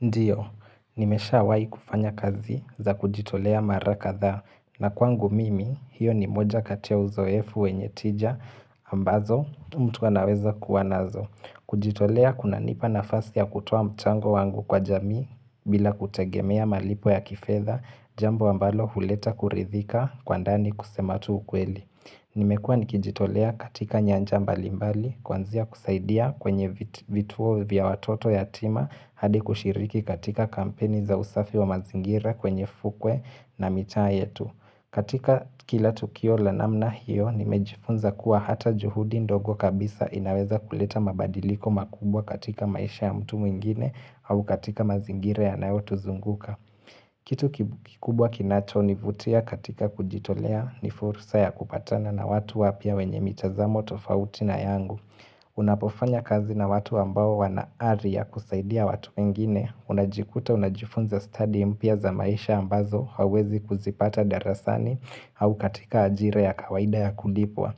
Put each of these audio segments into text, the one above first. Ndiyo, nimeshawai kufanya kazi za kujitolea mara ka dha na kwangu mimi hiyo ni moja katia uzoefu wenye tija ambazo mtu anaweza kuwanazo. Kujitolea kuna nipa nafasi ya kutoa mchango wangu kwa jamii bila kutegemea malipo ya kifedha jambo ambalo huleta kuridhika kwa ndani kusematu ukweli. Nimekua nikijitolea katika nyanja mbalimbali, kwanzia kusaidia kwenye vituo vya watoto ya tima hadi kushiriki katika kampeni za usafi wa mazingira kwenye fukwe na mitaa yetu. Katika kila tukio la namna hiyo, nimejifunza kuwa hata juhudi ndogo kabisa inaweza kuleta mabadiliko makubwa katika maisha ya mtu mwingine au katika mazingire ya nayo tuzunguka. Kitu kikubwa kinacho ni vutia katika kujitolea ni fursa ya kupatana na watu wapya wenye mitazamo tofauti na yangu. Unapofanya kazi na watu ambao wanaari ya kusaidia watu wengine, unajikuta unajifunza study mpya za maisha ambazo huwezi kuzipata darasani au katika ajira ya kawaida ya kulipwa.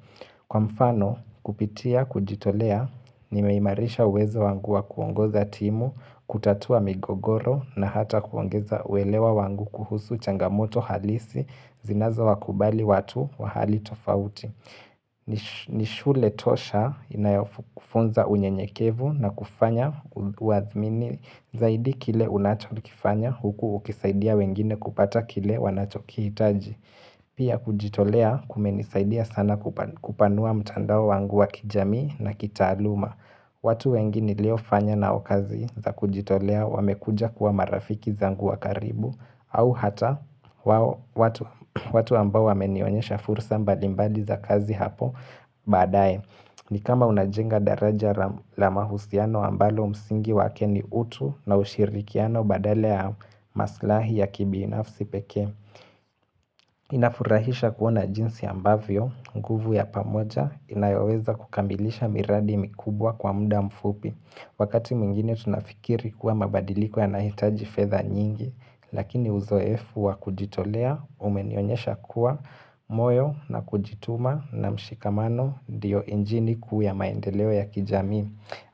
Kwa mfano kupitia kujitolea nimeimarisha uwezo wangu wa kuongoza timu, kutatua migogoro na hata kuongeza uelewa wangu kuhusu changamoto halisi zinazo wakubali watu wa hali tofauti. Nishule tosha inayofunza unye nyekevu na kufanya waathmini zaidi kile unacho kifanya huku ukisaidia wengine kupata kile wanachoki hitaji. Pia kujitolea kumenisaidia sana kupanua mtandao wangu wa kijamii na kitaaluma watu wengine nilio fanya na okazi za kujitolea wamekuja kuwa marafiki zanguwa karibu au hata watu ambao wamenionyesha fursa mbali mbali za kazi hapo baadaye ni kama unajenga daraja la mahusiano ambalo msingi wakeni utu na ushirikiano badala ya maslahi ya kibinafsi pekee Inafurahisha kuona jinsi ambavyo, nguvu ya pamoja, inayoweza kukambilisha miradi mikubwa kwa muda mfupi Wakati mwingine tunafikiri kuwa mabadiliko ya nahitaji fedha nyingi Lakini uzo efu wa kujitolea umenionyesha kuwa moyo na kujituma na mshikamano ndiyo injini kuwa maendeleo ya kijamii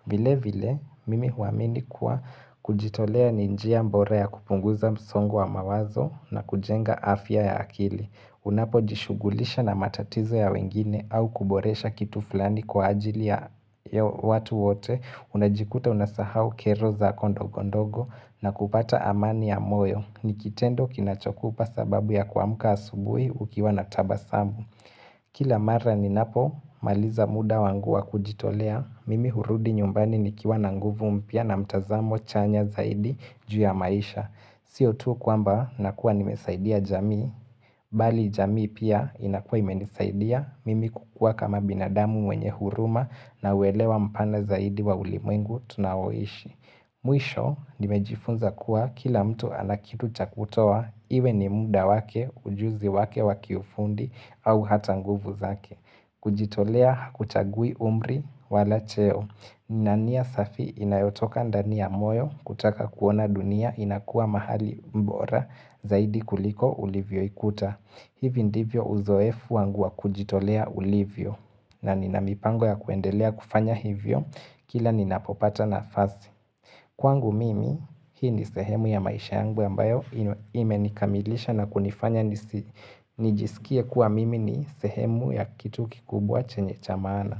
vile vile mimi huamini kuwa kujitolea ninjia bora ya kupunguza msongo wa mawazo na kujenga afya ya akili. Unapo jishugulisha na matatizo ya wengine au kuboresha kitu fulani kwa ajili ya watu wote. Unajikuta unasahau kero za kondogondogo na kupata amani ya moyo. Nikitendo kinachokupa sababu ya kuamka asubuhi ukiwa natabasamu. Kila mara ni napo, maliza muda wanguwa kujitolea, mimi hurudi nyumbani ni kiwa nanguvu mpya na mtazamo chanya zaidi juu ya maisha. Sio tu kuamba nakua nimesaidia jamii, bali jamii pia inakua imenisaidia, mimi kukua kama binadamu mwenye huruma na uelewa mpana zaidi wa ulimengu tunawoishi. Mwisho nimejifunza kuwa kila mtu anakitu chakutoa iwe ni muda wake, ujuzi wake waki ufundi au hata nguvu zake kujitolea hakuchagui umri wala cheo na nia safi inayotoka ndani ya moyo kutoka kuona dunia inakuwa mahali bora zaidi kuliko ulivyo ikuta hivi ndivyo uzoefu wangua kujitolea ulivyo na ninamipango ya kuendelea kufanya hivyo kila ninapopata na fasi Kwangu mimi, hii ni sehemu ya maisha yangu ambayo ime nikamilisha na kunifanya nijisikia kuwa mimi ni sehemu ya kitu kikubwa chenye chamaana.